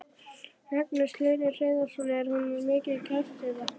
Magnús Hlynur Hreiðarsson: Er hún mikið kæst eða?